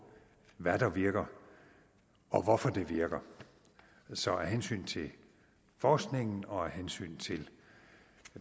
hvad der virker og hvorfor det virker så af hensyn til forskningen og af hensyn til